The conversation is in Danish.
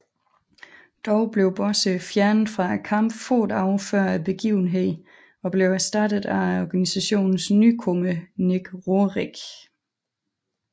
Dog blev Bossé fjernet fra kampen få dage før begivenheden og blev erstattet af organisationens nykommer Nick Roehrick